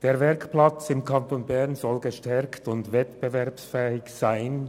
Einerseits soll der Werkplatz im Kanton Bern gestärkt werden und wettbewerbsfähig sein.